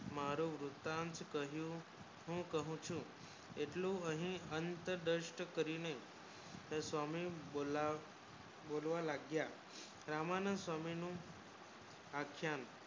મારો વૃત્તાન્ત કહ્યું હું કહું છું એટલું હે અંત દ્રષ્ટ કરીને તર સ્વામી બોલાવ બોલવા લાગ્યા રામનું સ્વામી નું અક્ષય